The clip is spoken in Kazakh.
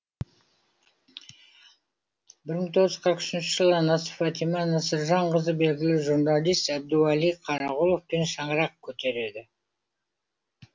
бір мың тоғыз жүз қырық үшінші жылы анасы фатима насыржанқызы белгілі журналист әбдуәли қарағұловпен шаңырақ көтереді